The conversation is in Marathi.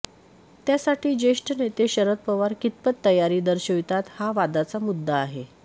त्यासाठी ज्येष्ठ नेते शरद पवार कितपत तयारी दर्शवितात हा वादाचा मुद्दा आहे